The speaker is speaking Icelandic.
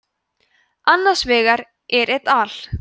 annar vegar er et al